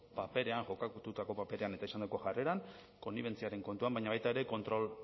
paperean kokatutako paperean eta izandako jarreran konnibentziaren kontuan baina baita ere kontrol